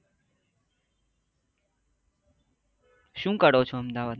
શું કરો છો અમદાવાદ માં